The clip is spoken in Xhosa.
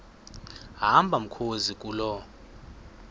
hamba mkhozi kuloo